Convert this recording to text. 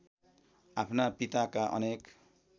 आफ्ना पिताका अनेक